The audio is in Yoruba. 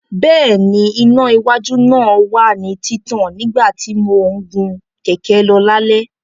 Bẹ́ẹ̀ni, iná iwájú náà wà ní títàn nígbà tí mò ń gun kẹ̀kẹ́ lọ lálẹ́.